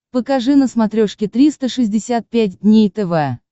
покажи на смотрешке триста шестьдесят пять дней тв